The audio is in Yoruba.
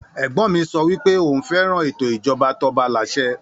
Ègbon mi so wípẹ́ oun féràn ètò ìjoba tobalàsẹ